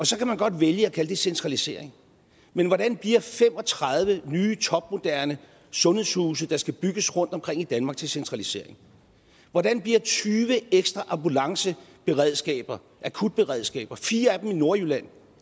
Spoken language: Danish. så kan man godt vælge at kalde det centralisering men hvordan bliver fem og tredive nye topmoderne sundhedshuse der skal bygges rundt omkring i danmark til centralisering hvordan bliver tyve ekstra ambulanceberedskaber akutberedskaber fire af dem i nordjylland